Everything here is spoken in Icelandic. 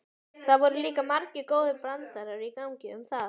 Það voru líka margir góðir brandarar í gangi um það.